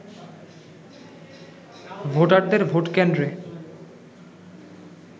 ভোটারদের ভোট কেন্দ্রে